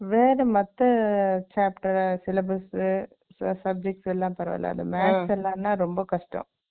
வேற மத்த chapter , syllabus , subjects எல்லாம் பரவாயில்லை. அந்த maths எல்லாம்ன்னா, ரொம்ப கஷ்டம்.